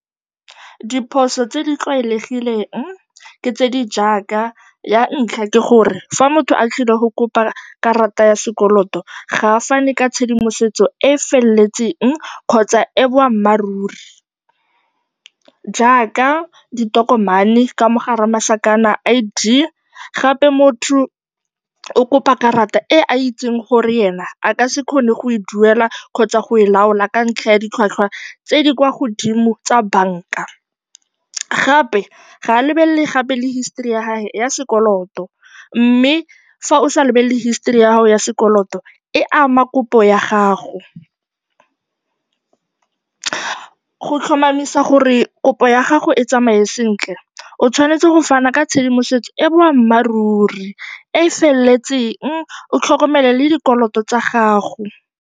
Diphoso tse di tlwaelegileng ke tse di jaaka, ya ntlha ke gore fa motho a tlile go kopa karata ya sekoloto, ga a fane ka tshedimosetso e e feletseng kgotsa e e boammaaruri jaaka ditokomane, ka mo gare ga masakana, I_D. Gape motho o kopa karata e a itseng gore ena a ka se kgone go e duela kgotsa go e laola ka ntlha ya ditlhwatlhwa tse di kwa godimo tsa banka. Gape ga a lebelele gape le history ya gagwe ya sekoloto, mme fa o sa lebelele history ya gago ya sekoloto, e ama kopo ya gago. Go tlhomamisa gore kopo ya gago e tsamaye sentle, o tshwanetse go fana ka tshedimosetso e e boammaaruri, e e feletseng, o tlhokomele le dikoloto tsa gago.